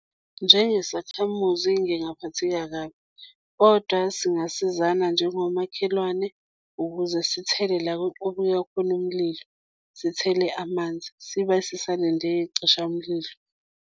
Njengesakhamuzi, ngingaphatheka kabi kodwa singasizana njengomakhelwane, ukuze sithele la okuya khona umlilo, sithele amanzi sibe sisalinde iy'cishamlilo.